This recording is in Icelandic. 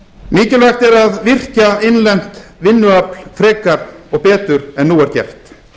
mikilvægt er að virkja innlent vinnuafl frekar og betur en nú er gert